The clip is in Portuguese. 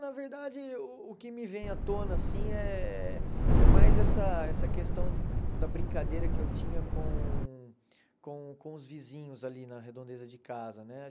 Na verdade, o que me vem à tona, assim, eh é mais essa essa questão da brincadeira que eu tinha com com com os vizinhos ali na redondeza de casa, né?